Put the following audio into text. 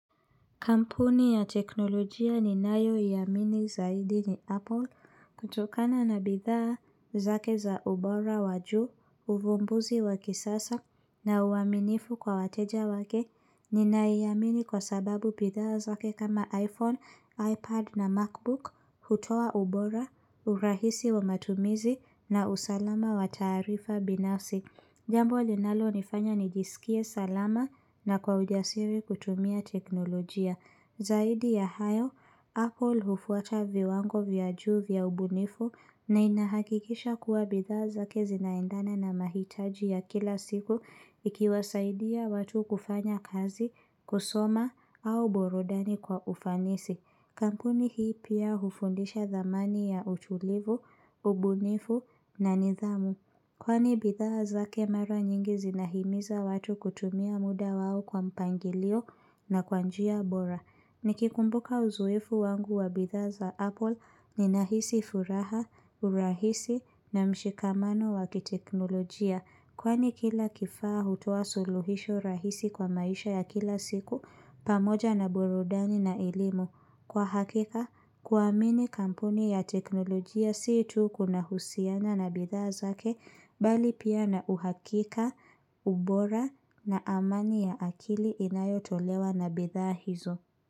Kampuni ya teknolojia ninayoiamini zaidi ni Apple kutokana na bidhaa zake za ubora wa juu, uvumbuzi wa kisasa na uaminifu kwa wateja wake. Ninaiamini kwa sababu bidhaa zake kama iPhone, iPad na MacBook, hutoa ubora, urahisi wa matumizi na usalama wa taarifa binafsi. Jambo linalo nifanya nijisikie salama na kwa ujasiri kutumia teknolojia. Zaidi ya hayo, Apple hufuata viwango vya juu ya ubunifu na inahakikisha kuwa bidhaa zake zinaendana na mahitaji ya kila siku ikiwasaidia watu kufanya kazi, kusoma au burudani kwa ufanisi. Kampuni hii pia hufundisha dhamani ya utulivu, ubunifu na nidhamu. Kwani bidhaa zake mara nyingi zinahimiza watu kutumia muda wao kwa mpangilio na kwa njia bora. Nikikumbuka uzoefu wangu wa bidhaa za Apple ninahisi furaha, urahisi na mshikamano wa kiteknolojia. Kwani kila kifaa hutoa suluhisho rahisi kwa maisha ya kila siku pamoja na burudani na elimu. Kwa hakika, kuamini kampuni ya teknolojia si tu kuna husiana na bidhaa zake bali pia na uhakika, ubora na amani ya akili inayotolewa na bidhaa hizo.